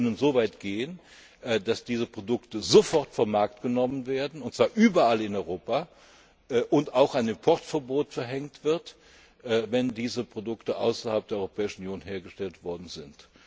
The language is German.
Die können so weit gehen, dass diese Produkte sofort vom Markt genommen werden, und zwar überall in Europa, und auch ein Importverbot verhängt wird, wenn diese Produkte außerhalb der Europäischen Union hergestellt worden sind.